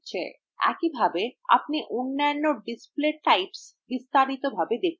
একইভাবে আপনি অন্যান্য display types বিস্তারিতভাবে দেখতে পারেন